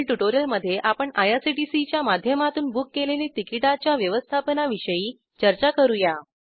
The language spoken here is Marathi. पुढील ट्युटोरियलमध्ये आपण आयआरसीटीसीच्या माध्यमातून बुक केलेले तिकिटाच्या व्यवस्थापनाविषयी चर्चा करूया